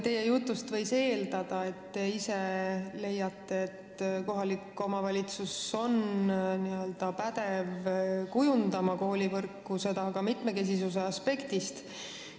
Teie jutust võis eeldada, et te ise leiate, et kohalik omavalitsus on n-ö pädev koolivõrku kujundama, seda ka mitmekesisuse aspektist.